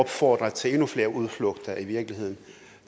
opfordre til endnu flere udflugter i virkeligheden